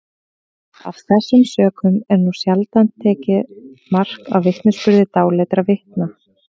af þessum sökum er nú sjaldan tekið mark á vitnisburði dáleiddra vitna